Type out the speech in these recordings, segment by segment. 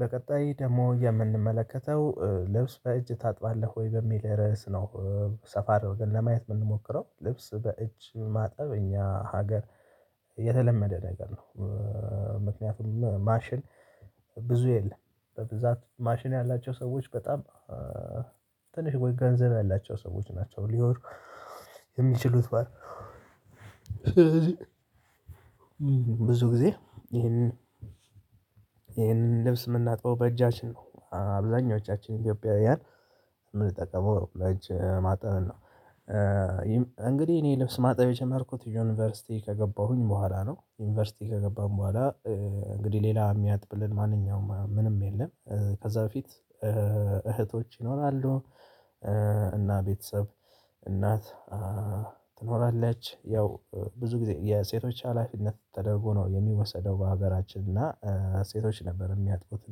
በቀጣይ ደግሞ የምንመለከተው ልብስ በእጅ ታጥባለህ ወይ በሚል ርዕስ ነው። ሰፋ አድርገን ለማየት የምንሞክረው ልብስ በእጅ ማጠብ እኛ ሀገር የተለመደ ነገር ነው። ማሽን ብዙ የለም በብዛት ማሽን ያላቸው ሰዎች በጣም ትንሽ ወይ ገንዘብ ያላቸው ሰዎች ናቸው ሊሆኑ የሚችሉት። ብዙ ጊዜ ይሄንን ይሄንን ልብስ የምናጥበው በእጃችን ነው አብዛኞቻችን ኢትዮጵያውያን የምንጠቀመው ለእጅ ማጠብን ነው። ይህም እንግዲህ እኔ ልብስ ማጠብ የጀመርኩት ዩኒቨርሲቲ ከገባሁኝ በኋላ ነው። ዩኒቨርሲቲ ከገባን በኋላ እንግዲህ ሌላ የሚያጥብልን ማንኛውም ምንም የለም። ከዛ በፊት እህቶች ይኖራሉ። እና ቤተሰብ እናት ትኖራለች ያው ብዙ ጊዜ የሴቶች ሀላፊነት ተደርጎ ነው የሚወሰደው። በሀገራችን እና ሴቶች ነበር የሚያጥቡት።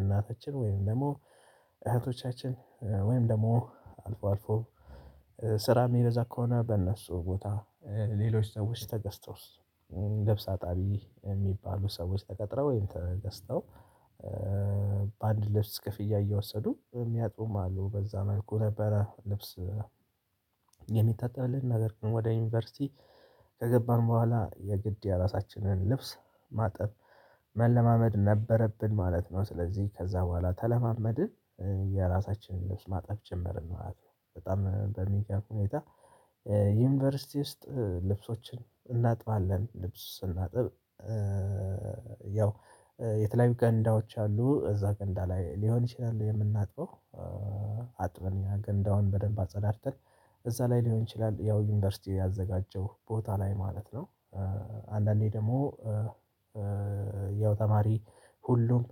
እናታችን ወይም ደግሞ እህቶቻችን ወይም ደግሞ አልፎ አልፎ ስራ ሚበዛ ከሆነ በእነሱ ቦታ ሌሎች ሰዎች ተገስጦስ ልብስ አጣቢ የሚባሉ ሰዎች ተቀጥረው ወይም ተገዝተው በአንድ ልብስ ክፍያ እየወሰዱ የሚያጡም አሉ። በዛ መልኩ ነበረ ልብስ የሚታጠብልን ነገር ግን ወደ ዩኒቨርሲቲ ከገባን በኋላ የግድ የራሳችንን ልብስ ማጠብ መለማመድ ነበረብን ማለት ነው። ስለዚህ ከዛ በኋላ ተለማመድን የራሳችንን ማጠብ ጀመርን ማለት ነው። በጣም በሚገርም ሁኔታ የታ ዩኒቨርሲቲ ውስጥ ልብሶችን እናጥባለን። ልብስ ስናጥብ የተለያዩ ገንዳዎች አሉ እዛ ገንዳ ላይ ሊሆን ይችላል የምናጥበው። ያገንዳውን በደንብ አጸዳድተን እዛ ላይ ሊሆን ይችላል ያው ዩኒቨርሲቲ ያዘጋጀው ቦታ ላይ ማለት ነው። አንዳንዴ ደግሞ ያው ተማሪ ሁሉም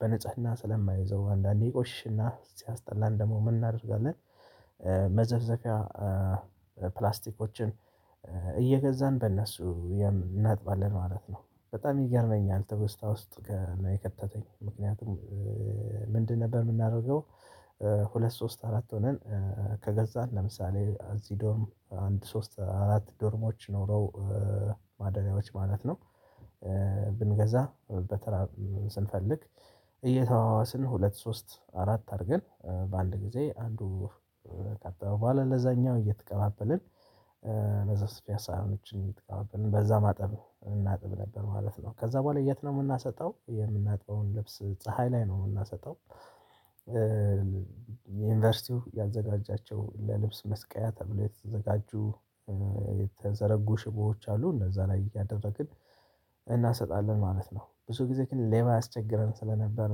በንጽህና ስለማይዘው አንዳንዴ ይቆሽሽና ሲያስጠላን ደግሞ ምን እናደርጋለን? መዘፍዘፊያ ፕላስቲኮችን እየገዛን በእነሱ እናጥባለን ማለት ነው። በጣም ይገርመኛል ትውስታ ውስጥ ነው የከተተኝ ምክንያቱም። ምንድን ነበር የምናደርገው? ሁለት ሶስት አራት ሆነን ከገዛን ለምሳሌ እዚህ ዶርም አንድ ሶስት አራት ዶርሞች ኖረው ማደሪያዎች ማለት ነው። ብንገዛ በተራ ስንፈልግ። ሁለት ሶስት አራት አድርገን በአንድ ጊዜ አንዱ ከካጠበ በኋላ ለዛኛው እየተቀባበልን መዘፍዘፊያ ሳህኖችን እየተቀባበልን በዛ ማጠብ እናጥብ ነበር ማለት ነው። ከዛ በኋላ የት ነው የምናሰጠው የምናጥበውን ልብስ ፀሀይ ላይ ነው የምናሰጠው። የዩኒቨርሲቲው ያዘጋጃቸው ለልብስ መስቀያ ተብሎ የተዘጋጁ የተዘረጉ ሽቦዎች አሉ እነዛ ላይ እያደረግን እናሰጣለን ማለት ነው። ብዙ ጊዜ ግን ሌባ ያስቸግረን ስለነበር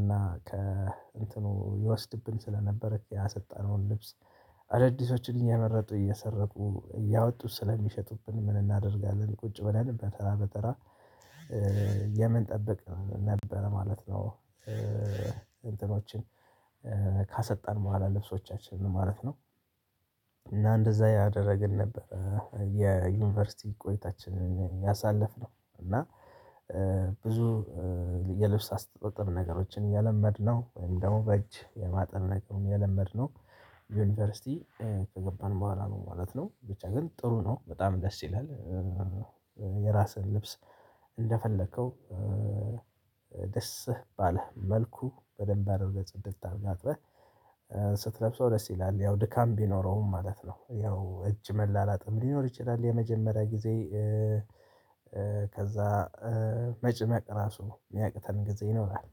እና ከእንትኑ ይወስድብን ስለነበር ያሰጣነውን ልብስ አዳዲሶችን እየመረጡ እየሰረቁ እያወጡ ስለሚሸጡብን ምን እናደርጋለን? ቁጭ ብለን በተራ በተራ የምንጠብቅ ነበር ማለት ነው። እንትኖችን ካሰጣን በኋላ ልብሶቻችንን ማለት ነው። እና እንደዛ እያደርግን ነበር። የዩኒቨርሲቲ ቆይታችንን ያሳለፍነው እና ብዙ የልብስ አስተጣጠብ ነገሮችን የለመድነው ወይም ደግሞ በእጅ የማጠብ ነገሩን የለመድነው ዩኒቨርሲቲ ከገባን በኋላ ነው ማለት ነው ብቻ ግን ጥሩ ነው በጣም ደስ ይላል። የራስህን ልብስ እንደፈለከው ደስ ባለህ መልኩ በደንብ አድርገህ ጽድት አድርገህ አጥበህ ስትለብሰው ደስ ይላል ያው ድካም ቢኖረውም ማለት ነው። ያው እጅ መላላጥም ሊኖር ይችላል የመጀመሪያ ጊዜ ከዛ መጭመቅ ራሱ የሚያቅተን ጊዜ ይኖራል።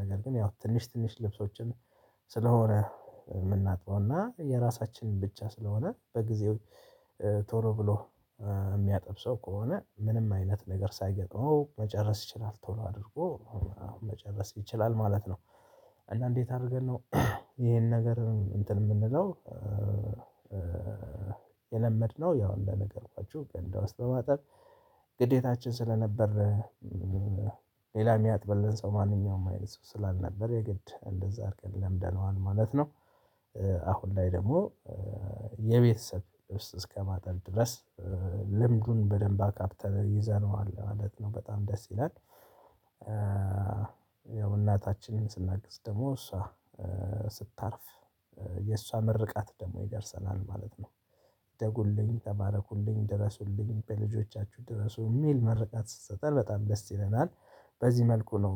ነገር ግን ያው ትንሽ ትንሽ ልብሶችን ስለሆነ የምናጥበው እና የራሳችንን ብቻ ስለሆነ በጊዜው ቶሎ ብሎ የሚያጠብ ሰው ከሆነ ምንም አይነት ነገር ሳይገጥመው መጨረስ ይችላል ቶሎ አድርጎ አሁን መጨረስ ይችላል ማለት ነው። አና እንዴት አድርገን ነው? ይሄን ነገር እንትን የምንለው? የለመድነው ያው እንደ ነገርኳችሁ ገንዳ ውስጥ በማጠብ ግዴታችን ስለነበር። ሌላ ሚያጥብልን ሰው ማንኛውም አይነት ሰው ስላልነበር የግድ እንደዛ አድርገን ለምደነዋል ማለት ነው። አሁን ላይ ደግሞ የቤተሰብ ውስጥ እስከማጠብ ድረስ ልምዱን በደንብ አካብተን ይዘነዋል ማለት ነው። በጣም ደስ ይላል። ያው እናታችንን ስናግዝ ደግሞ እሷ ስታርፍ የእሷ ምርቃት ደግሞ ይደርሰናል ማለት ነው። እደጉልኝ ተባረኩልኝ ድረሱልኝ በልጆቻችሁ ድረሱ የሚል መርቃት ስትሰጠን በጣም ደስ ይለናል። በዚህ መልኩ ነው።